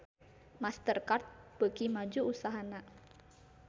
Master Card beuki maju usahana